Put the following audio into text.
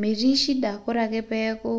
metii shida ore ake peeku